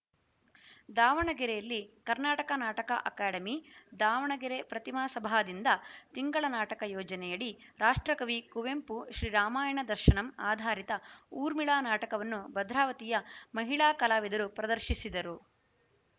ದಾವಣಗೆರೆಯಲ್ಲಿ ಕರ್ನಾಟಕ ನಾಟಕ ಅಕಾಡೆಮಿ ದಾವಣಗೆರೆ ಪ್ರತಿಮಾ ಸಭಾದಿಂದ ತಿಂಗಳ ನಾಟಕ ಯೋಜನೆಯಡಿ ರಾಷ್ಟ್ರಕವಿ ಕುವೆಂಪು ಶ್ರೀರಾಮಾಯಣ ದರ್ಶನಂ ಆಧಾರಿತ ಊರ್ಮಿಳಾ ನಾಟಕವನ್ನು ಭದ್ರಾವತಿಯ ಮಹಿಳಾ ಕಲಾವಿದರು ಪ್ರದರ್ಶಿಸಿದರು